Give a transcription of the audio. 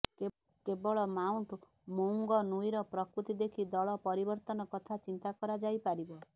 କେବଳ ମାଉଣ୍ଟ୍ ମୌଙ୍ଗନୁଇର ପ୍ରକୃତି ଦେଖି ଦଳ ପରିବର୍ତନ କଥା ଚିନ୍ତା କରା ଯାଇପାରିବ